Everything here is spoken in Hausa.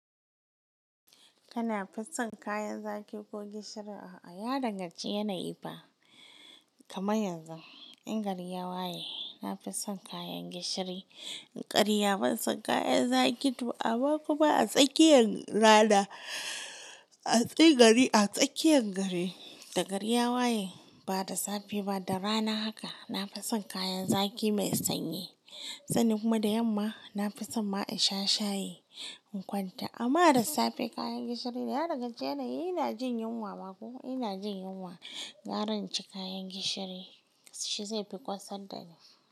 Kana fison kayan zaki ko gishiri? A'a, ya danganci yanayi fa. Kama yanzu in gari ya waye, na fi son kayan gishiri. In ƙarya ban son kayan zaki ba, to amma kuma a tsakiyan rana, a tsayi gari a tsakiyan gari, da gari ya waye, ba da safe ba, da rana haka, na fi son kayan zaki mai sanyi. Sannan kuma da yamma, na fi son ma in sha shayi in kwanta. Amma da safe kayan gishiri ya daganci yanayi, ina jin yunwa, ba ko ina jin yunwa, gara in ci kayan gishiri shi zai fi kosar da ni.